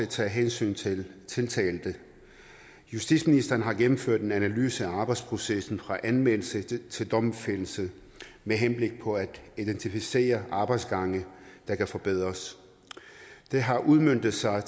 tage hensyn til tiltalte justitsministeren har gennemført en analyse af arbejdsprocessen fra anmeldelse til domfældelse med henblik på at identificere arbejdsgange der kan forbedres det har udmøntet sig